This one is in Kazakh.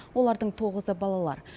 олардың тоғызы балалар